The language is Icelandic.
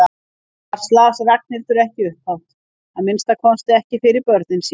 Annars las Ragnhildur ekki upphátt, að minnsta kosti ekki fyrir börnin sín.